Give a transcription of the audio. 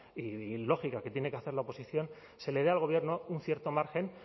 y lógica que tiene que hacer la oposición se le dé al gobierno un cierto margen